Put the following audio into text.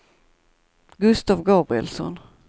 Gustav Gabrielsson